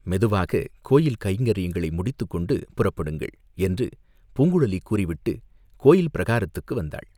மெதுவாகக் கோயில் கைங்கரியங்களை முடித்துக்கொண்டு புறப்படுங்கள்!" என்று பூங்குழலி கூறிவிட்டுக் கோயில் பிரகாரத்துக்கு வந்தாள்.